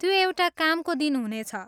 त्यो एउटा कामको दिन हुनेछ।